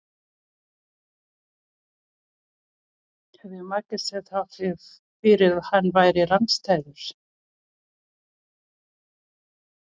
hefði markið staðið þrátt fyrir að hann væri rangstæður?